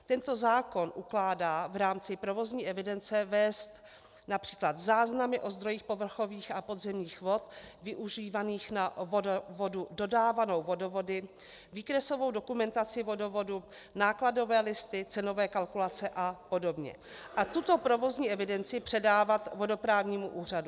Tento zákon ukládá v rámci provozní evidence vést například záznamy o zdrojích povrchových a podzemních vod využívaných na vodu dodávanou vodovody, výkresovou dokumentaci vodovodu, nákladové listy, cenové kalkulace a podobně a tuto provozní evidenci předávat Vodoprávnímu úřadu.